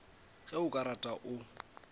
ge o ka rata o